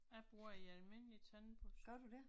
Jeg bruger en almindelig tandbørste